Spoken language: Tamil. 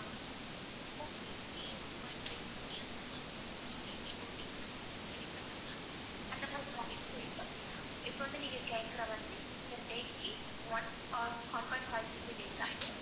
இப்ப வந்து நீங்க கேக்கற மாதிரி per day க்கு one or one point five GB data வரும்.